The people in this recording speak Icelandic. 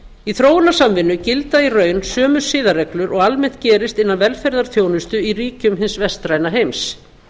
í þróunarsamvinnu gilda í raun sömu siðareglur og almennt gerist innan velferðarþjónustu í ríkjum hins vestræna heims